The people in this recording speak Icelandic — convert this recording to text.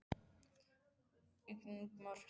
Ingmar, spilaðu lag.